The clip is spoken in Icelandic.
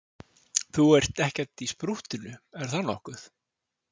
Þú ert ekkert í sprúttinu, er það nokkuð?